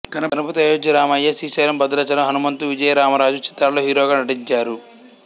గణపతి ఆయోధ్య రామయ్య శ్రీశైలం భద్రాచలం హనుమంతు విజయరామరాజు చిత్రాల్లో హీరోగా నటించారు